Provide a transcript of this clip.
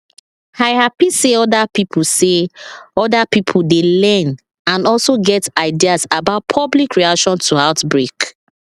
i hapi say other pipo say other pipo dey learn and also get ideas about public reaction to outbreak